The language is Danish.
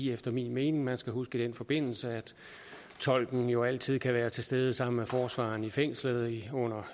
efter min mening man skal huske i den forbindelse at tolken jo altid kan være til stede sammen med forsvareren i fængslet under